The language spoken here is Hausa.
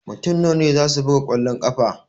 Mutum nawa ne zasu buga kwallon ƙafa?